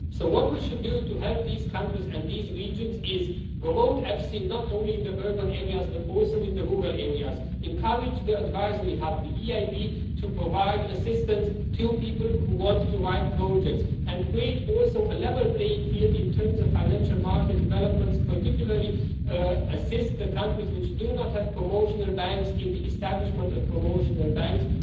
So what we should do to help these countries and these regions is promote EFSI, not only in the urban areas but also in the rural areas. Encourage the advisor we have, the EIB, to provide assistance to people who want to write projects, and create also a level playing field in terms of financial market developments, particularly to assist the countries which do not have promotional banks in the establishment of promotional banks.